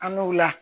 An n'u la